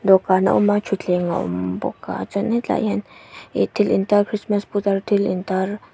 dawhkan a awm a thutthleng a awm bawk a chuanin tlaiah hian ihh thil intar krismas putar thil in tar--